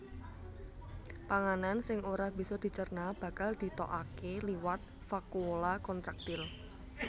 Panganan sing ora bisa dicerna bakal ditokaké liwat vakuola kontraktil